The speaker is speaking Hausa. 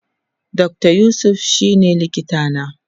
Dr yusuf shine likita na